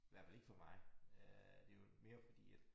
Hvert fald ikke for mig øh det jo mere fordi at